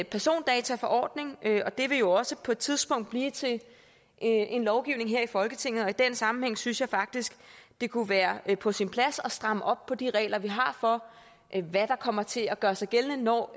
persondataforordning og det vil jo også på et tidspunkt blive til en lovgivning her i folketinget og i den sammenhæng synes jeg faktisk det kunne være på sin plads at stramme op på de regler vi har for hvad der kommer til at gøre sig gældende når